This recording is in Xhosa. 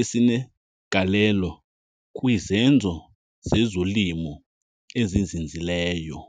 esinegalelo kwizenzo zezolimo ezizinzileyo.